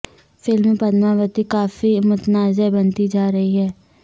film Padmavati کافی متنازع بنتی جا رہی ہے